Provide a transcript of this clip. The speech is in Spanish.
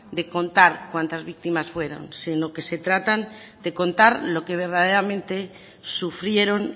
de contar cuántas víctimas fueron sino que se trata de contar lo que verdaderamente sufrieron